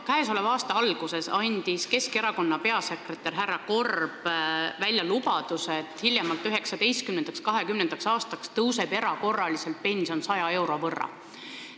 Käesoleva aasta alguses andis Keskerakonna peasekretär härra Korb välja lubaduse, et hiljemalt 2019.–2020. aastaks tõuseb pension erakorraliselt 100 euro võrra.